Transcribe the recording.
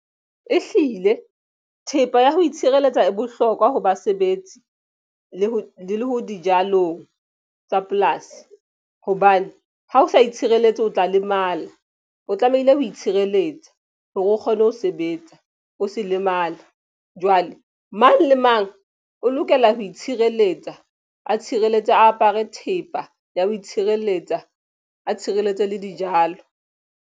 E hlile thepa ya ho itshireletsa e bohlokwa ho basebetsi le ho dijalong tsa polasi. Hobane ha o sa itshireletse o tla lemala o tlamehile ho itshireletsa hore o kgone ho sebetsa, o se lemale. Jwale mang le mang o lokela ho itshireletsa a tshireletso a apare thepa ya ho itshireletsa a tshireletso le dijalo.